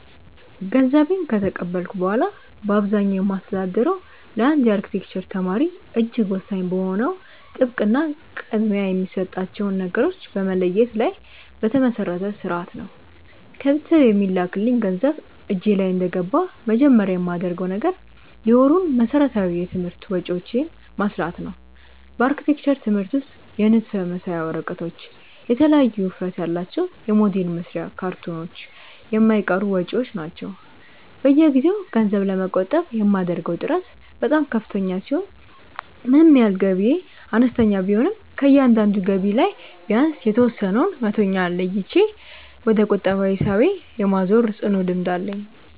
ገንዘቤን ከተቀበልኩ በኋላ በአብዛኛው የማስተዳድረው ለአንድ የአርክቴክቸር ተማሪ እጅግ ወሳኝ በሆነው ጥብቅ እና ቅድሚያ የሚሰጣቸውን ነገሮች በመለየት ላይ በተመሰረተ ሥርዓት ነው። ከቤተሰብ የሚላክልኝ ገንዘብ እጄ ላይ እንደገባ መጀመሪያ የማደርገው ነገር የወሩን መሠረታዊ የትምህርት ወጪዎቼን ማስላት ነው። በአርክቴክቸር ትምህርት ውስጥ የንድፍ መሳያ ወረቀቶች፣ የተለያዩ ውፍረት ያላቸው የሞዴል መስሪያ ካርቶኖች የማይቀሩ ወጪዎች ናቸው። በየጊዜው ገንዘብ ለመቆጠብ የማደርገው ጥረት በጣም ከፍተኛ ሲሆን ምንም ያህል ገቢዬ አነስተኛ ቢሆንም ከእያንዳንዱ ገቢ ላይ ቢያንስ የተወሰነውን መቶኛ ለይቼ ወደ ቁጠባ ሂሳቤ የማዛወር ጽኑ ልምድ አለኝ።